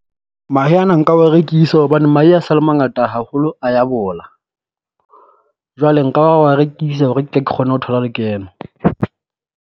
Mahe ana nka wa rekisa hobane mahe a sa le mangata haholo a ya bola. Jwale nka wa wa rekisa hore ke tle ke kgone ho thola lekeno.